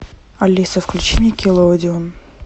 алиса включи никелодеон